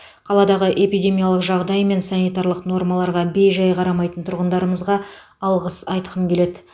қаладағы эпидемиялық жағдай мен санитарлық нормаларға бей жай қарамайтын тұрғындарымызға алғыс айтқым келеді